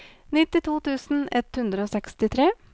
nittito tusen ett hundre og sekstitre